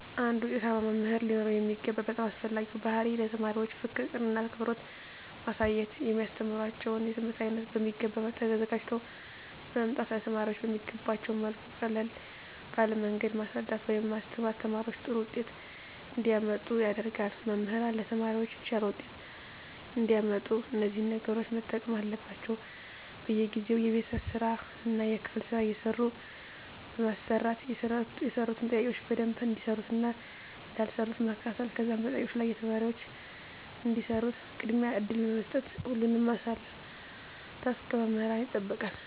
አንድ ዉጤታማ መምህር ሊኖረዉ የሚገባ በጣም አስፈላጊዉ ባህሪይ ለተማሪዎች ፍቅርን አክብሮትን ማሳየት የሚያስተምራቸዉን የትምህርት አይነት በሚገባ ተዘጋጅተዉ በመምጣት ለተማሪዎች በሚገቧቸዉ መልኩ ቀለል ባለ መንገድ ማስረዳት ወይም ማስተማር ተማሪዎች ጥሩ ዉጤት እንዲያመጡ ያደርጋል መምህራን ለተማሪዎች የተሻለ ዉጤት እንዲያመጡ እነዚህን ነገሮች መጠቀም አለባቸዉ በየጊዜዉ የቤት ስራእና የክፍል ስራ እየሰጡ በማሰራት የሰሩትን ጥያቄዎች በደንብ እንደሰሩትእና እንዳልሰሩት መከታተል ከዛም በጥያቄዎች ላይ ተማሪዎች እንዲሰሩት ቅድሚያ እድል በመስጠት ሁሉንም ማሳተፍ ከመምህራን ይጠበቃል